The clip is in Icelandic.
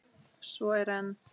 Svo er enn.